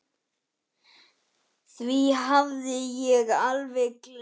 Því hafði ég alveg gleymt.